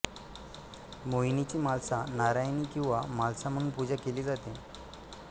मोहिनीची म्हालसा नारायणी किंवा म्हालसा म्हणून पूजा केली जाते